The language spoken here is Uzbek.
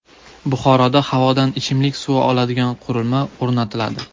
Buxoroda havodan ichimlik suvi oladigan qurilma o‘rnatiladi.